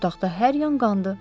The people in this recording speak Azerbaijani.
Otaqda hər yan qandı.